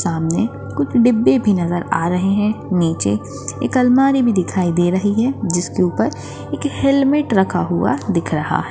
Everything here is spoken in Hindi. सामने कुछ डिब्बे भी नजर आ रहे है नीचे एक अलमारी भी दिखाई दे रही है जिसके ऊपर एक हेलमेट रखा हुआ दिख रहा है।